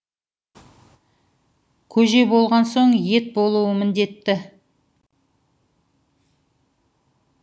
көже болған соң ет болуы міндетті